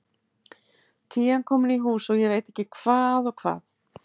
Tían komin í hús og ég veit ekki hvað og hvað.